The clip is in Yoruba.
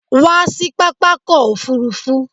Come to the airport.